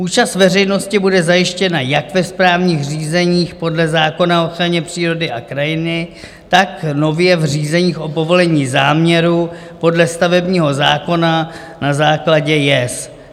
Účast veřejnosti bude zajištěna jak ve správních řízeních podle zákona o ochraně přírody a krajiny, tak nově v řízeních o povolení záměru podle stavebního zákona na základě JES.